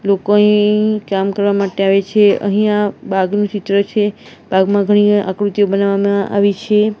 લોકો અહીં કામ કરવા માટે આવે છે અહીંયા બાગનું ચિત્ર છે બાગમાં ઘણીવાર આકૃતિઓ બનાવવામાં આવી છે.